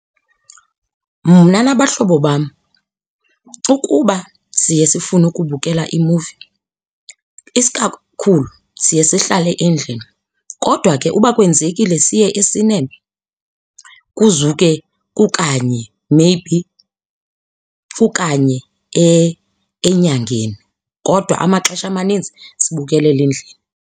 Mna nabahlobo bam, ukuba siye sifune ukubukela imuvi isikakhulu siye sihlale endlini. Kodwa ke uba kwenzekile siye esinema kuzuke kukanye maybe kukanye enyangeni. Kodwa amaxesha amaninzi sibukelela endlini.